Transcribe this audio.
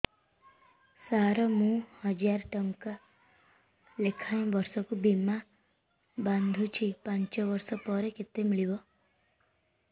ସାର ମୁଁ ହଜାରେ ଟଂକା ଲେଖାଏଁ ବର୍ଷକୁ ବୀମା ବାଂଧୁଛି ପାଞ୍ଚ ବର୍ଷ ପରେ କେତେ ମିଳିବ